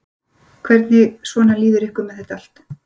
Hvernig svona líður ykkur með þetta allt?